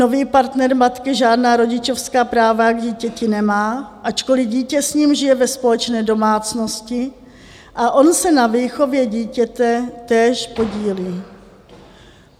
Nový partner matky žádná rodičovská práva k dítěti nemá, ačkoliv dítě s ním žije ve společné domácnosti a on se na výchově dítěte též podílí.